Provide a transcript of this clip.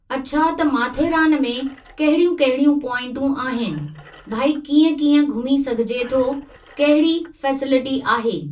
अछा त माथेरान में कहिड़ियूं कहिड़ियूं पोइंटूं आहिनि भई कीअं कीअं घुमी सघिजे थो कहिड़ी फै़सेलिटी आहे।